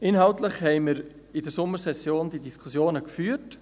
Die inhaltlichen Diskussionen haben wir während der Sommersession geführt.